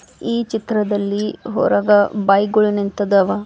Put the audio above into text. ಈ ಚಿತ್ರದಲ್ಲಿ ಹೊರಗ ಬೈಕ ಗೊಳ್ ನಿಂತಿದವ.